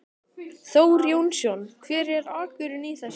Þór Jónsson: Hver er akkurinn í þessu?